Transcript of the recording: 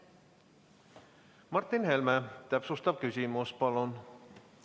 Martin Helme, täpsustav küsimus, palun!